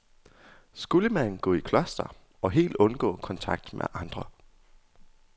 Skulle man gå i kloster og helt undgå kontakt med andre?